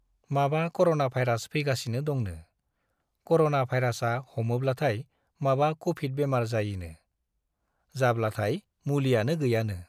माबा corona virus फैगासिनो दंनो , कर'ना भाइरासा हमोब्लाथाय माबा कभिड बेमार जायोनो , जाब्लाथाय मुलियानो गैयानो ।